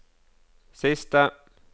siste